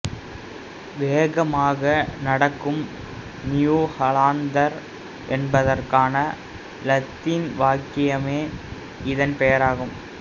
வேகமாக நடக்கும் new Hollander என்பதற்கான இலத்தீன் வாக்கியமே இதன் பெயர் ஆகும்